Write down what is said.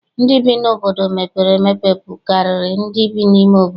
Ndị bi n'obodo mepere emepe bukarịrị ndị bi n'ime obodo.